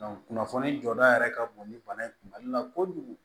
kunnafoni jɔda yɛrɛ ka bon ni bana in kun mali la kojugu